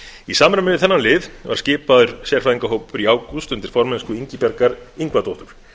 í samræmi við þennan lið var skipaður sérfræðingahópur í ágúst undir formennsku ingibjargar ingvadóttur